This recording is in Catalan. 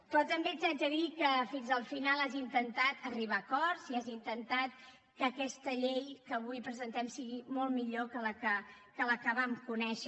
però també t’haig de dir que fins al final has intentat arribar a acords i has intentat que aquesta llei que avui presentem sigui molt millor que la que vam conèixer